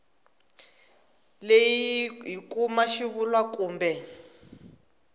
leyi hi kuma xivulwa kumbe